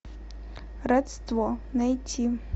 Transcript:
родство найти